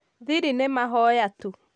thiri nĩ mahoya tu